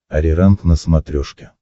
ариранг на смотрешке